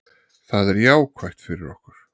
Það er jákvætt fyrir okkur.